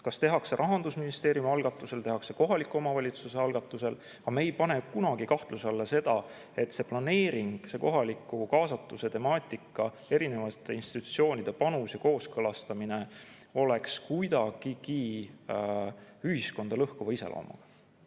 Kas tehakse Rahandusministeeriumi algatusel või kohaliku omavalitsuse algatusel, ja me ei pane kunagi kahtluse alla seda, et see planeering, see kohaliku kaasatuse temaatika, erinevate institutsioonide panus ja kooskõlastamine oleks kuidagigi ühiskonda lõhkuva iseloomuga.